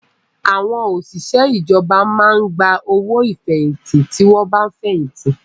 Àwọn òṣìṣẹ́ ìjọba máa ń gba owó ìfẹ̀yìntì tí wọ́n bá fẹ̀yìntì